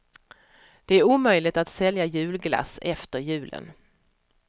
Det är omöjligt att sälja julglass efter julen.